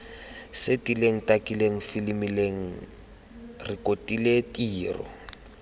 setileng takileng filimileng rekotileng tiro